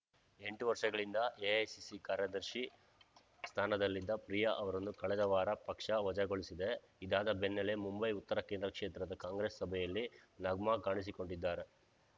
ಎಂಟು ವರ್ಷಗಳಿಂದ ಎಐಸಿಸಿ ಕಾರ್ಯದರ್ಶಿ ಸ್ಥಾನದಲ್ಲಿದ್ದ ಪ್ರಿಯಾ ಅವರನ್ನು ಕಳೆದ ವಾರ ಪಕ್ಷ ವಜಾಗೊಳಿಸಿದೆ ಇದಾದ ಬೆನ್ನಲ್ಲೇ ಮುಂಬೈ ಉತ್ತರ ಕೇಂದ್ರ ಕ್ಷೇತ್ರದ ಕಾಂಗ್ರೆಸ್‌ ಸಭೆಯಲ್ಲಿ ನಗ್ಮಾ ಕಾಣಿಸಿಕೊಂಡಿದ್ದಾರೆ